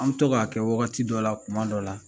An bɛ to k'a kɛ wagati dɔ la tuma dɔ la